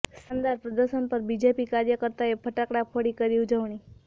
શાનદાર પ્રદર્શન પર બીજેપી કાર્યકર્તાઓએ ફટાકડા ફોડી કરી ઉજવણી